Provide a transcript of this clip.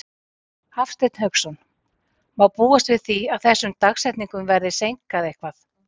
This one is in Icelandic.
Hafsteinn Hauksson: Má búast við því að þessum dagsetningum verði seinkað eitthvað?